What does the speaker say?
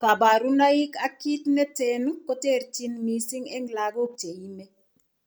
Kabarunaik ak kit neten koterchin mising en lagok cheime